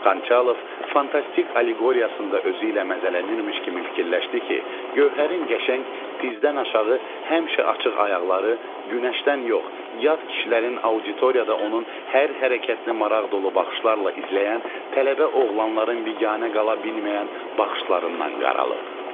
Xançalov fantastik alleqoriyasında özü ilə məzələnilmiş kimi fikirləşdi ki, Gövhərin qəşəng, dizdən aşağı həmişə açıq ayaqları günəşdən yox, yad kişilərin auditoriyada onun hər hərəkətini maraq dolu baxışlarla izləyən tələbə oğlanların biganə qala bilməyən baxışlarından qaralıb.